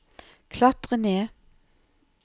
klatre ned